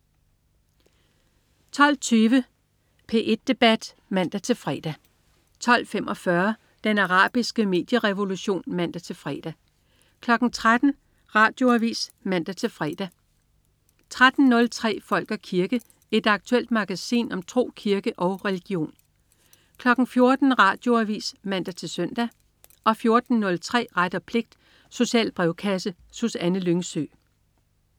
12.20 P1 debat (man-fre) 12.45 Den arabiske medierevolution (man-fre) 13.00 Radioavis (man-fre) 13.03 Folk og kirke. Et aktuelt magasin om tro, kirke og religion 14.00 Radioavis (man-søn) 14.03 Ret og pligt. Social brevkasse. Susanne Lyngsø